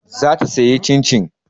Za ta sayi Cin-cin.